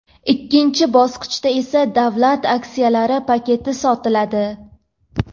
ikkinchi bosqichda esa davlat aksiyalari paketi sotiladi.